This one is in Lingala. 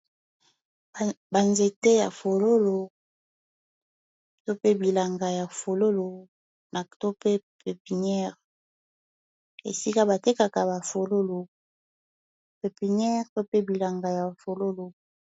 Ba nzete ya fololo to pe bilanga ya fololo na to pe pepiniere esika batekaka ba fololo pepiniere to pe bilanga ya fololo.